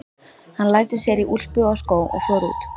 Hann læddi sér í úlpu og skó og fór út.